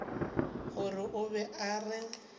gore o be a re